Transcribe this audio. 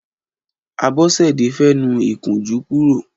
Abosede fè nù ikùnjù kùró